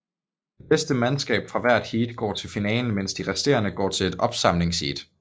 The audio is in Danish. Det bedste mandskab fra hvert heat går til finalen mens de resterende går til ét opsamlingsheat